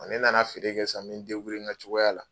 ne nana feere kɛ san, n mɛ n in ka cogoya la